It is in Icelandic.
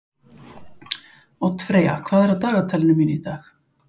Oddfreyja, hvað er í dagatalinu mínu í dag?